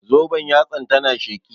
Zoben yatsan ta na sheƙi